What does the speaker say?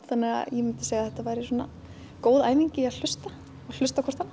þannig að ég myndi segja að þetta væri góð æfing í að hlusta hlusta á hvort annað